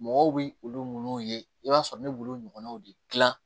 Mɔgɔw bi olu munnu ye i b'a sɔrɔ ne b'olu ɲɔgɔnnaw de gilan